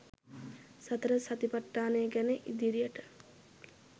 සතර සතිපට්ඨානය ගැන ඉදිරියට